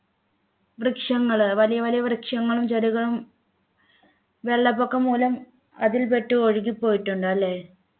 വൃക്ഷങ്ങൾ വലിയ വലിയ വൃക്ഷങ്ങളും ചെടികളും വെള്ളപ്പൊക്കം മൂലം അതിൽ പെട്ട് ഒഴുകി പോയിട്ടുണ്ട് അല്ലേ